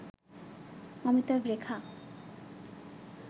Amitabh Rekha